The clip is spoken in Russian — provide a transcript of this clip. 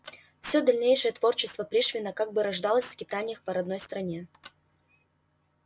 все дальнейшее творчество пришвина как бы рождалось в скитаниях по родной стране